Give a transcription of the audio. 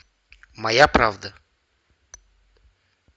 моя правда